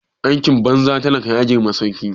Aikin banza talaka ya girma sarki